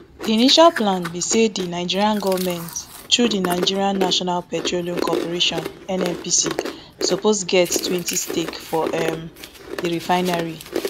di initial plan be say di nigeria goment through di nigeria national petroleum corporation nnpc suppose get twenty stake for um di refinery